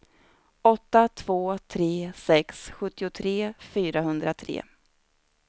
åtta två tre sex sjuttiotre fyrahundratre